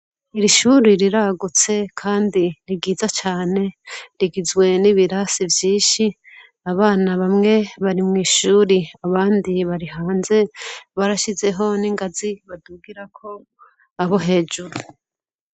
Ishure riragutse kandi ni ryiza cane rigizwe n'ibirasi vyinshi abana bamwe bari mw'ishure abandi bari hanze barashizeho n'ingazi badugirako aho hejuru.